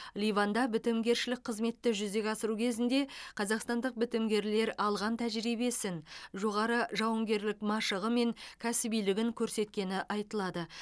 ливанда бітімгершілік қызметті жүзеге асыру кезінде қазақстандық бітімгерлер алған тәжірибесін жоғары жауынгерлік машығы мен кәсібилігін көрсеткені айтылады